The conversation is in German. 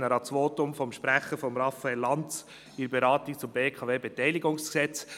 Ich erinnere an das Votum von Sprecher Raphael Lanz bei der Beratung des BKWG.